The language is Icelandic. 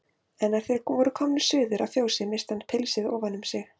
En er þeir voru komnir suður að fjósi missti hann pilsið ofan um sig.